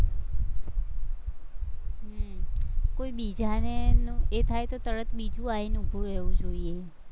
હમ કોઈ બીજાને એ થાય તો તરત બિજુ આવીને ઉભું રહેવું જોઈએ.